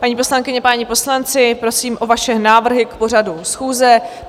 Paní poslankyně, páni poslanci, prosím o vaše návrhy k pořadu schůze.